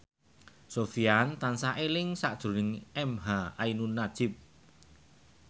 Sofyan tansah eling sakjroning emha ainun nadjib